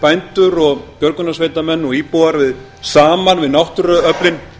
bændur og björgunarsveitarmenn og íbúar saman við náttúruöflin